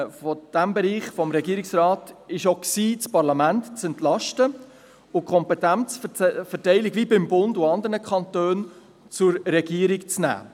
Ein zweites Ziel des Regierungsrates bestand auch darin, das Parlament zu entlasten und die Kompetenzverteilung wie beim Bund und bei anderen Kantonen zur Regierung zu ziehen.